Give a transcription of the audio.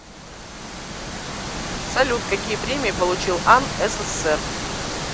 салют какие премии получил ан ссср